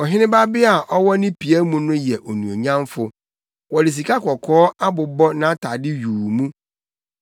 Ɔhene babea a ɔwɔ ne pia mu no yɛ onuonyamfo wɔde sikakɔkɔɔ abobɔ nʼatade yuu mu.